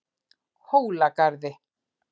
Hólagarði